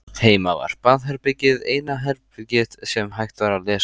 Heima var baðherbergið eina herbergið sem hægt var að læsa.